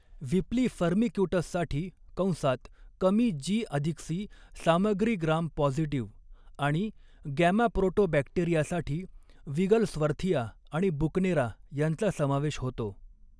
व्हिपली, फर्मिक्युटससाठी कंसात कमी जी अधिक सी सामग्री, ग्राम पॉझिटिव्ह आणि गॅमाप्रोटोबॅक्टेरियासाठी विगलस्वर्थिया आणि बुकनेरा यांचा समावेश होतो.